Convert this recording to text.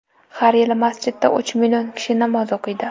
Har yili masjidda uch million kishi namoz o‘qiydi.